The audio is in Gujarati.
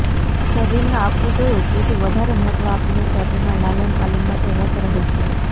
શરીરને આપવું જોઈએ તેથી વધારે મહત્વ આપીને શરીરના લાલનપાલનમાં તે રત રહે છે